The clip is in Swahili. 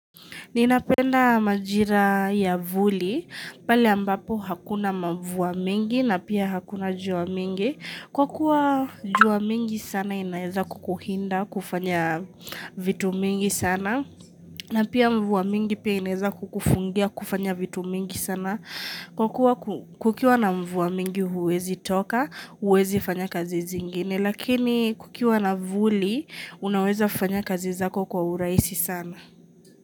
Ninapenda majira ya vuli, pale ambapo hakuna mvua mingi na pia hakuna jua mingi. Kwa kuwa jua mingi sana inaeza kukuhinda kufanya vitu mingi sana. Na pia mvua mingi pia inaeza kukufungia kufanya vitu mingi sana. Kwa kuwa kukiwa na mvua mingi huwezi toka, huwezi fanya kazi zingine. Lakini kukiwa na vuli, unaweza fanya kazi zako kwa urahisi sana.